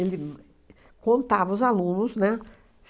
Ele uhn contava os alunos, né?